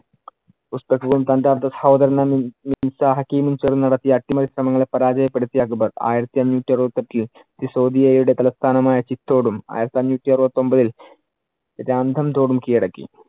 ഹക്കിമും ചേർന്നു നടത്തിയ അട്ടിമറി ശ്രമങ്ങളേ പരാജപ്പെടുത്തി അക്ബർ ആയിരത്തി അഞ്ഞൂറ്റി അറുപത്തിയെട്ടിൽ സിസോദിയയുടെ തലസ്ഥാനം ആയ ചിത്തോടും ആയിരത്തി അഞ്ഞൂറ്റി അറുപത്തിയൊമ്പതിൽ രാംഥദോടും കിഴടക്കി.